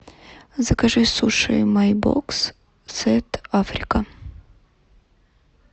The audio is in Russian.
закажи суши май бокс сет африка